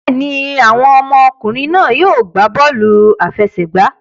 Bẹ́ẹ̀ ni, àwọn ọmọkùnrin náà yóò gbá bọ́ọ̀lù aláfẹsẹ̀gbá